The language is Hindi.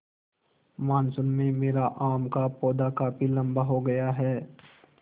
मानसून में मेरा आम का पौधा काफी लम्बा हो गया है